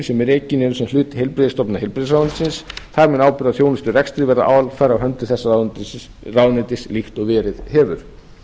sem rekin eru sem hlutur heilbrigðisstofnunar heilbrigðisráðuneytisins þar mun ábyrgð á þjónusturekstri verða alfarið á höndum þess ráðuneytis líkt og verið hefur